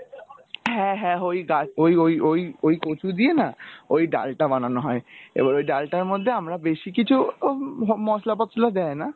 হ্যাঁ হ্যাঁ ঐ ঐ ঐ ঐ কচু দিয়ে না ঐ ডালটা বানানো হয় এবার ওই ডালটার মধ্যে আমরা বেশি কিছু হম মশলা পশলা দেয় না?